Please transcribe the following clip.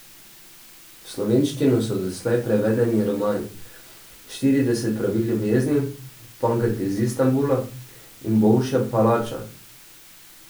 V slovenščino so doslej prevedeni romani Štirideset pravil ljubezni, Pankrt iz Istanbula in Bolšja palača.